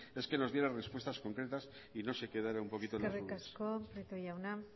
es que nos diera respuestas concretas y no se quedara un poquito en las nubes eskerrik asko prieto jauna